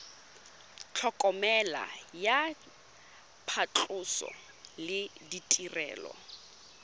tlhokomelo ya phatlhoso le ditirelo